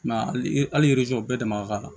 I m'a ye hali bɛɛ dama ka kan